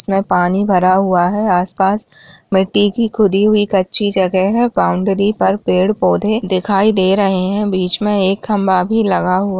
इसमें पानी भरा हुआ है आस-पास मिट्टी की खुदी हुईं कच्ची जगह है बाउंड्री पर पेड़-पौधे दिखाई दे रहे हैं बीच में एक खंबा भी लगा हुआ --